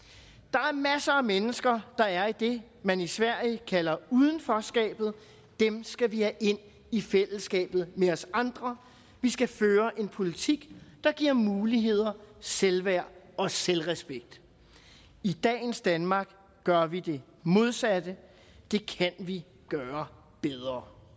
er masser af mennesker der er i det man i sverige kalder udenforskabet dem skal vi have ind i fællesskabet med os andre vi skal føre en politik der giver muligheder selvværd og selvrespekt i dagens danmark gør vi det modsatte det kan vi gøre bedre